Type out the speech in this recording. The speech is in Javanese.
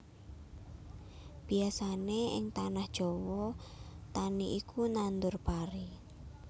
Biyasané ing tanah Jawa tani iku nandhur pari